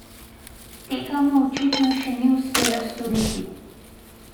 Tega mu očitno še ni uspelo storiti.